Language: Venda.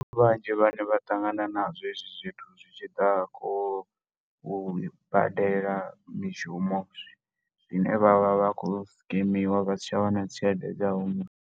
Ndi vhanzhi vha ne vha ṱangana na zwo hezwi zwithu zwi tshi ḓa khou badela mishumo, zwine vha vha vha khou scammiwa vha sa tsha wana tshelede dza hone.